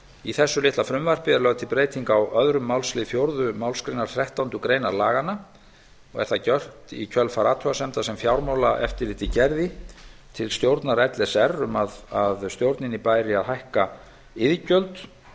í þessu litla frumvarpi er lögð til breyting á öðrum málsl fjórðu málsgreinar þrettándu greinar laganna og er það gjört í kjölfar athugasemda sem fjármálaeftirlitið gerði til stjórnar l s r um að stjórninni bæri að hækka iðgjöld